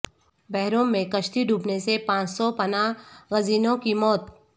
بحرروم میں کشتی ڈوبنے سے پانچ سو پناہ گزینوں کی موت